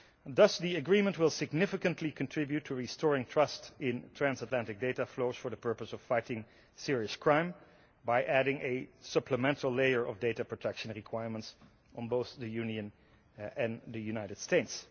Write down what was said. Thus the agreement will significantly contribute to restoring trust in transatlantic data flows for the purpose of fighting serious crime by adding a supplemental layer of data protection requirements on both the Union and the United States.